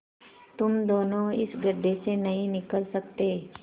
तुम दोनों इस गढ्ढे से नहीं निकल सकते